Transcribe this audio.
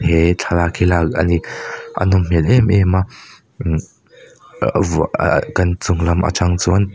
he thlalak hi lak ani a nawm hmel em em a imm vah ahh kan chung lam atang chuan.